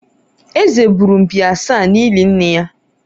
Eze gburu mkpi asaa n'ili nne ya